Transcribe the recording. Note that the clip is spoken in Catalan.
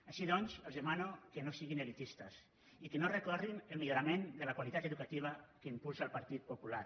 així doncs els demano que no siguin elitistes i que no recorrin contra el millorament de la qualitat educativa que impulsa el partit popular